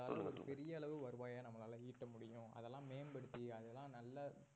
ஒரு பெரிய அளவு வருவாயை நம்மளால ஈட்ட முடியும் அதெல்லாம் மேம்படுத்தி அதெல்லாம் நல்ல